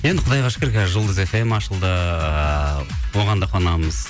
енді құдайға шүкір қазір жұлдыз фм ашылды ыыы оған да қуанамыз